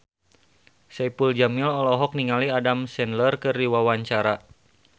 Saipul Jamil olohok ningali Adam Sandler keur diwawancara